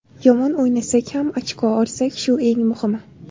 Yomon o‘ynasak ham ochko olsak shu eng muhimi.